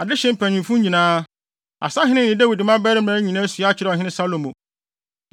Adehye mpanyimfo nyinaa, asahene ne Dawid mmabarima nyinaa sua kyerɛɛ ɔhene Salomo.